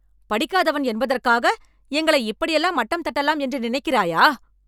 படிக்காதவன் என்பதற்காக எங்களை இப்படியெல்லாம் மட்டம் தட்டலாம் என்று நினைக்கிறாயா?